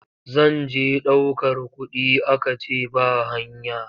Zan je ɗaukar kuɗi aka ce ba hanya.